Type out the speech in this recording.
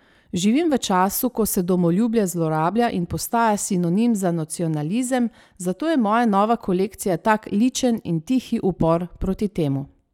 Živim v času, ko se domoljubje zlorablja in postaja sinonim za nacionalizem, zato je moja nova kolekcija tak ličen in tihi upor proti temu.